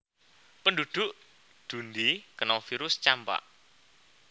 Penduduk Dundee keno virus campak